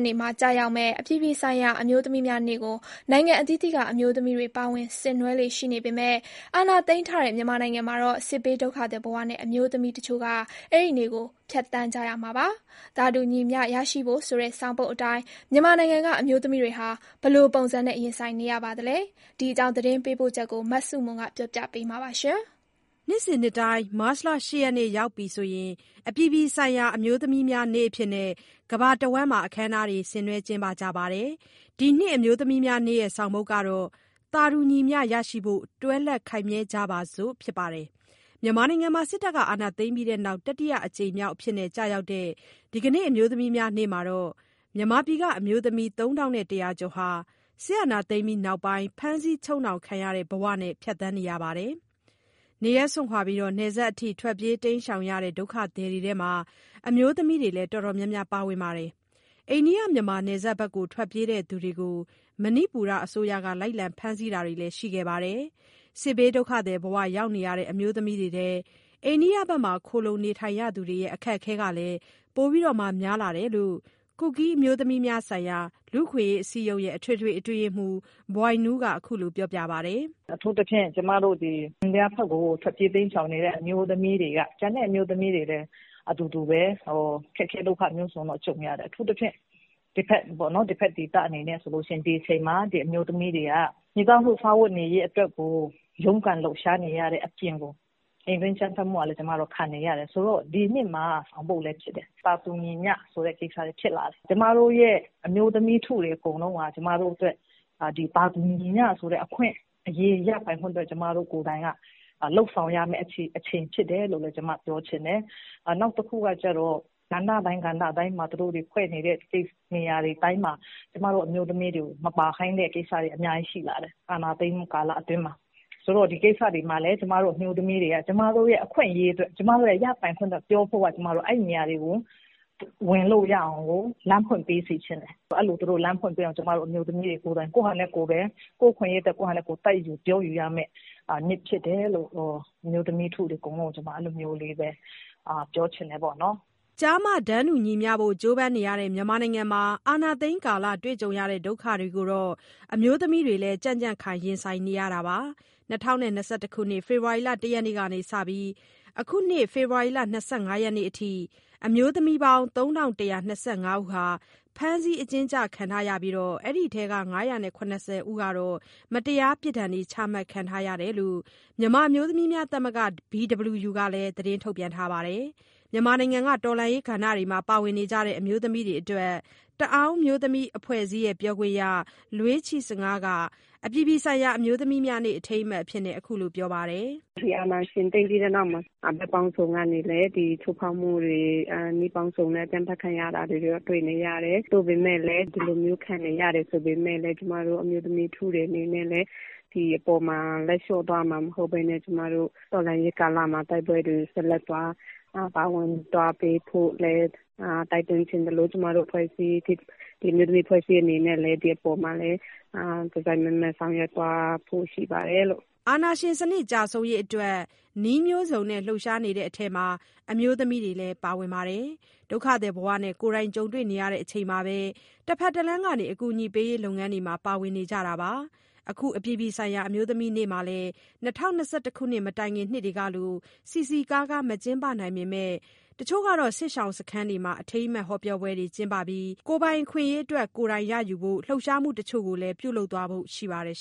နေ့မှာ ကျရောက်မယ့် အပြည်ပြည်ဆိုင်ရာ အမျိုးသမီးများနေ့ကို နိုင်ငံအသီးသီးက အမျိုးသမီးတွေ ပါဝင်ဆင်နွှဲလေ့ရှိပေမယ့် အာဏာသိမ်းထားတဲ့ မြန်မာနိုင်ငံမှာတော့ စစ်ဘေးဒုက္ခသည်ဘဝနဲ့ အမျိုးသမီးတချို့က အဲဒီနေ့ကို ဖြတ်သန်းရမှာပါ။ သာတူညီမျှရရှိဖို့ဆိုတဲ့ ဆောင်ပုဒ်အတိုင်း မြန်မာနိုင်ငံက အမျိုးသမီးတွေဟာ ဘယ်လိုပုံစံနဲ့ ရင်ဆိုင်နေရပါသလဲ။ ဒီအကြောင်း သတင်းပေးပို့ချက်ကို မဆုမွန်က ပြောပြမှာပါ။ နှစ်စဉ် မတ်လ ၈ ရက်နေ့ ရောက်ပြီဆို အပြည်ပြည်ဆိုင်ရာ အမျိုးသမီးများနေ့အဖြစ် ကမ္ဘာတဝှမ်းမှာ ဆင်နွှဲကြပါတယ်။ ဒီနှစ် အမျိုးသမီးများနေ့ရဲ့ ဆောင်ပုဒ်က “သာတူညီမျှရရှိဖို့ တွဲလက်ခိုင်မြဲကြပါစို့” ဖြစ်ပါတယ်။ မြန်မာနိုင်ငံမှာ စစ်အာဏာသိမ်းပြီးနောက် တတိယအကြိမ်မြောက်အဖြစ် ကျရောက်တဲ့ ဒီအမျိုးသမီးများ နေ့မှာတော့ မြန်မာပြည်က အမျိုးသမီး ၃,၁၀၀ ကျော်ဟာ အာဏာသိမ်းပြီးနောက်ပိုင်း ဖမ်းဆီးချုပ်နှောင်ခံရတဲ့ ဘဝနဲ့ ဖြတ်သန်းရမှာပါ။ နေရပ်စွန့်ခွာပြီး နယ်စပ်အထိ ထွက်ပြေးတိမ်းရှောင်နေတဲ့ ဒုက္ခသည်တွေထဲမှာ အမျိုးသမီးတွေလည်း အတော်များများ ပါဝင်နေပါတယ်။ အိန္ဒိယ-မြန်မာ နယ်စပ်ဘက် ထွက်ပြေးသူတွေကို မဏိပူရအစိုးရက လိုက်လံဖမ်းဆီးတာတွေလည်း ရှိခဲ့ပါတယ်။ စစ်ဘေးဒုက္ခသည်ဘဝ ရောက်နေရတဲ့ အမျိုးသမီးတွေထဲ အိန္ဒိယဘက်မှာ ခိုလှုံနေသူတွေရဲ့ အခက်အခဲကလည်း ပိုများလာတယ်လို့ ကူကီးအမျိုးသမီးများဆိုင်ရာ လူ့အခွင့်အရေး အစည်းအရုံးရဲ့ အထွေထွေ အတွင်းရေးမှူး ဘွိုင်နူးက အခုလိုပြောပါတယ်။ "အထူးသဖြင့် အိန္ဒိယဘက်ကို ထွက်ပြေးတိမ်းရှောင်နေတဲ့ အမျိုးသမီးတွေက ဒီအချိန်မှာ မိသားစုစားဝတ်နေရေး အတွက်ကို ရုန်းကန်လှုပ်ရှားနေရတဲ့ အပြင် အိမ်တွင်းအကြမ်းဖက်မှုကလည်း ခံနေရပါတယ်။ ကျန်တဲ့ အမျိုးသမီးတွေလည်း အတူတူပဲ၊ အခက်အခဲ ဒုက္ခမျိုးစုံကြုံရတယ်။ ဆိုတော့ ဒီနှစ်မှာ ဆောင်ပုဒ်လည်းဖြစ်တဲ့ သာတူညီမျှဆိုတဲ့ ကိစ္စတွေဖြစ်လာတယ်။ အမျိုးသမီးထုတွေ အကုန်လုံးက သာတူညီမျှဆိုတဲ့ အခွင့်အရေး ရပိုင်ခွင့်အတွက် ကျမတို့ကိုယ်တိုင်က လုပ်ဆောင်ရမယ့် အချိန်ဖြစ်တယ်။ နောက်တခုက ကဏ္ဍတိုင်းမှာ သူတို့တွေဖွဲ့နေတဲ့ နေရာတွေတိုင်းမှာ ကျမတို့အမျိုးသမီးတွေကို မပါခိုင်းတဲ့ကိစ္စတွေ အများကြီးရှိလာတယ်၊ အာဏာသိမ်းမှု ကာလအတွင်းမှာ။ ဆိုတော့ ဒီကိစ္စတွေမှာလည်း အမျိုးသမီးတွေက ကျမတို့ အခွင့်အရေးတွေ၊ ရပိုင်ခွင့်တွေအတွက် ပြောဖို့က အဲဒီနေရာတွေကို ဝင်လို့ရအောင်လို့ လမ်းဖွင့်ပေးစေချင်တယ်။ အဲလို သူတို့လမ်းဖွင့်ပေးအောင်လို့ ကိုယ့်ဟာကိုယ် တိုက်ယူပြောယူရမယ့် နေ့ဖြစ်တယ်လို့ အမျိုးသမီးထုတွေကို ပြောချင်တယ်။" ကျား၊ မ တန်းတူညီမျှဖို့ ကြိုးပမ်းနေရတဲ့ မြန်မာနိုင်ငံမှာ အာဏာသိမ်းကာလ တွေ့ကြုံရတဲ့ ဒုက္ခတွေကိုတော့ အမျိုးသမီးတွေလည်း ကြံ့ကြံ့ခိုင် ရင်ဆိုင်နေရတာပါ။ ၂၀၂၁ ခုနှစ်၊ ဖေဖော်ဝါရီလ ၁ ရက်နေ့ကနေ အခုနှစ် ဖေဖော်ဝါရီလ ၂၅ ရက်နေ့အထိ အမျိုးသမီးပေါင်း ၃,၁၂၅ ဦးဟာ ဖမ်းဆီးအကျဉ်းချ ခံထားရပြီး၊ အဲဒီထဲက ၅၇၀ ဦးကတော့ မတရားပြစ်ဒဏ် ချမှတ်ခံထားရတယ်လို့ မြန်မာ့အမျိုးသမီးသမဂ္ဂ BWU ကလည်း ထုတ်ပြန်ထားပါတယ်။ မြန်မာနိုင်ငံက တော်လှန်ရေး ကဏ္ဍမှာ ပါဝင်နေကြတဲ့ အမျိုးသမီးတွေအတွက် တအာင်းအမျိုးသမီး အဖွဲ့အစည်းရဲ့ ပြောခွင့်ရ လွေးချီ့ဆငါးက အပြည်ပြည်ဆိုင်ရာ အမျိုးသမီးများနေ့ အထိမ်းအမှတ်အဖြစ် အခုလို ပြောထားပါတယ်။ "ဒီအာဏာရှင် သိမ်းပြီးတဲ့နောက်မှာ ဘက်ပေါင်းစုံကနေ ချိုးဖောက်မှုတွေ၊ နည်းပေါင်းစုံနဲ့ ကန့်သတ်ခံနေရတာတွေ တွေ့နေရတယ်။ သို့ပေမယ့် ဒီလိုမျိုးခံနေရတယ် ဆိုပေမယ့်လည်း ကျမတို့ အမျိုးသမီးထုတွေ အနေနဲ့ ဒီအပေါ်မှာ လက်လျှော့သွားမှာ မဟုတ်ဘဲ တော်လှန်ရေးကာလမှာ ဆက်လက်ပါဝင်သွားပေးဖို့ တိုက်တွန်းချင်သလို၊ ကျမတို့ အမျိုးသမီးအဖွဲ့အစည်း အနေနဲ့လည်း ဒီအပေါ်မှာ တစိုက်မတ်မတ် ဆောင်ရွက်သွားဖို့ ရှိပါတယ်။" အာဏာရှင်စနစ် ကျဆုံးရေးအတွက် နည်းမျိုးစုံနဲ့ လှုပ်ရှားနေတဲ့ အထဲမှာ အမျိုးသမီးတွေလည်း ပါဝင်ပါတယ်။ ဒုက္ခသည်ဘဝနဲ့ ကိုယ်တိုင်ကြုံတွေ့နေချိန်မှာပဲ တဖက်တလှမ်းကနေ အကူအညီပေးရေး လုပ်ငန်းတွေမှာ ပါဝင်နေကြတာပါ။ အခု အပြည်ပြည်ဆိုင်ရာ အမျိုးသမီးများနေ့မှာလည်း ၂၀၂၁ ခုနှစ်မတိုင်ခင် နှစ်တွေကလို စည်စည်ကားကား မကျင်းပနိုင်ပေမယ့် တချို့စစ်ရှောင်စခန်းတွေမှာ အထိမ်းအမှတ် ဟောပြောပွဲကျင်းပပြီး၊ ကိုယ်ပိုင်အခွင့်အရေးအတွက် ကိုယ်တိုင်ရယူဖို့ လှုပ်ရှားမှုတချို့ကိုလည်း ပြုလုပ်သွားဖို့ ရှိပါတယ်